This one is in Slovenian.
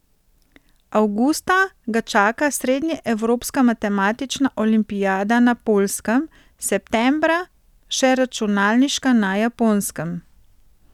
Avgusta ga čaka srednjeevropska matematična olimpijada na Poljskem, septembra še računalniška na Japonskem.